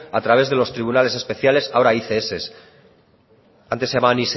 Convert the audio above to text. a través de los tribunales especiales ahora ics antes se llamaban